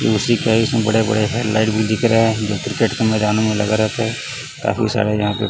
ये उसी प्राइस में बड़े बड़े हेडलाइट भी दिख रहे हैं जो क्रिकेट के मैदान में लगे रहते काफी सारे यहां पे--